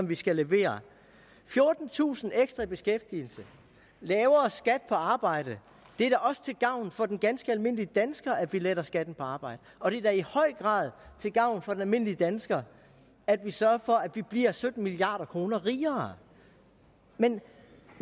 vi skal levere fjortentusind ekstra i beskæftigelse lavere skat på arbejde det er da også til gavn for den ganske almindelige dansker at vi letter skatten på arbejde og det er da i høj grad til gavn for den almindelige dansker at vi sørger for at vi bliver sytten milliard kroner rigere men